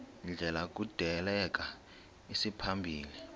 ndlela kudaleka isimaphambili